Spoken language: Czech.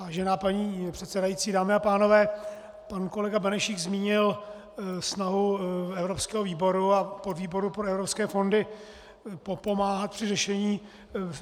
Vážená paní předsedající, dámy a pánové, pan kolega Benešík zmínil snahu evropského výboru a podvýboru pro evropské fondy pomáhat při řešení.